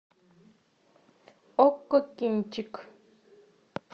окко кинчик